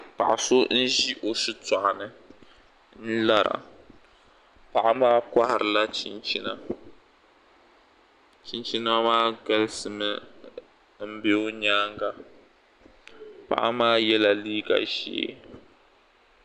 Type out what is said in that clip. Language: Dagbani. paɣ' so n-ʒi o shitɔɣu ni n-lara. paɣa maa kohiri la chinchina. Chinchina maa galisi mi m-be o nyaanga. Paɣa maa yɛ la liiga ʒee.